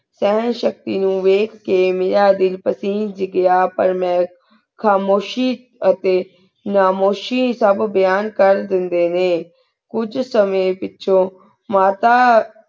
ਅਰ੍ਹਨ ਸਖਤੀ ਨੂ ਵੇਖ ਕੀ ਮੇਰਾ ਦਿਲ ਪੇਸੇੰਜ ਘੇਯਾ ਪਰ ਮੈਂ ਖਾਮੁਸ਼ੀ ਅਤੀ ਨਾਮੁਸ਼ੀ ਸੁਬ ਮੇਯਾਂ ਕੇਰ ਦੇਣ ਡੀ ਨਯਨ ਕੁਜ ਸੰਯੰ ਪੇਚੁਨ ਅਤਾ